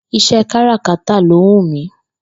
Ìs̩é̩ káràkátà ló wù mí